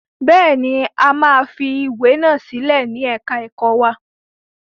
Bẹ́ẹ̀ ni, a máa fi ìwé náà sílẹ̀ sí ẹ̀ka ẹ̀kọ́ wa.